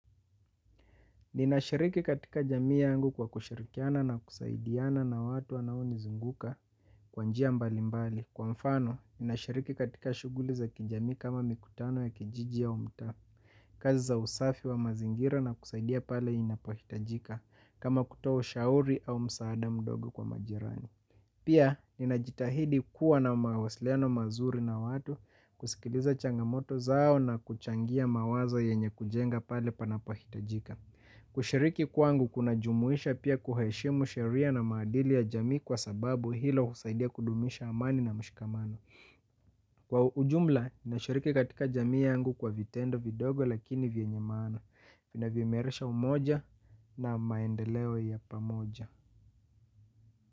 Ninashiriki katika jamii yangu kwa kushirikiana na kusaidiana na watu wanaonizinguka kwa njia mbali mbali. Kwa mfano, ninashiriki katika shughuli za kijamii kama mikutano ya kijiji au mtaa. Kazi za usafi wa mazingira na kusaidia pale inapohitajika kama kutoa ushauri au msaada mdogo kwa majirani. Pia, ninajitahidi kuwa na mawasiliano mazuri na watu kusikiliza changamoto zao na kuchangia mawazo yenye kujenga pale panapohitajika. Kushiriki kwangu kunajumuisha pia kuheshimu sheria na maadili ya jamii kwa sababu hilo husaidia kudumisha amani na mshikamano. Kwa ujumla, nashiriki katika jamii yangu kwa vitendo vidogo lakini vyenye maana inavyo imerisha umoja na maendeleo ya pamoja.